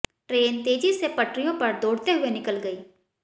train तेजी से पटरियों पर दौड़ते हुए निकल गई